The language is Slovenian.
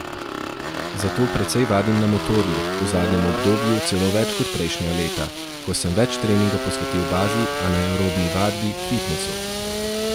Zato precej vadim na motorju, v zadnjem obdobju celo več kot prejšnja leta, ko sem več treninga posvetil bazi, anaerobni vadbi, fitnesu.